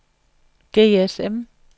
GSM